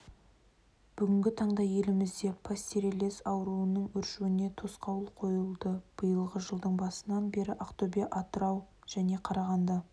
бүгінгі таңда елімізде пастереллез ауруының өршуіне тосқауыл қойылды биылғы жылдың басынан бері ақтөбе атырау және қарағанды